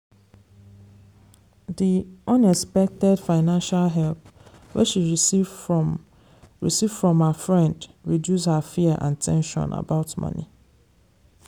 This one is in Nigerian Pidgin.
di unexpected financial help wey she receive from receive from her friend reduce her fear and ten sion about money.